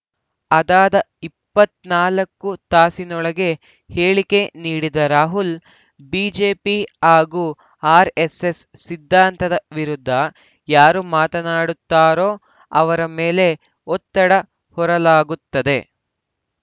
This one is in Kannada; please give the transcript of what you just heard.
ಅದಾದ ಇಪ್ಪತ್ತ್ ನಾಲ್ಕು ತಾಸಿನೊಳಗೆ ಹೇಳಿಕೆ ನೀಡಿದ್ದ ರಾಹುಲ್‌ ಬಿಜೆಪಿ ಹಾಗೂ ಆರ್‌ಎಸ್‌ಎಸ್‌ ಸಿದ್ಧಾಂತದ ವಿರುದ್ಧ ಯಾರು ಮಾತನಾಡುತ್ತಾರೋ ಅವರ ಮೇಲೆ ಒತ್ತಡ ಹೇರಲಾಗುತ್ತದೆ